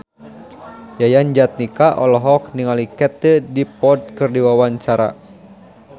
Yayan Jatnika olohok ningali Katie Dippold keur diwawancara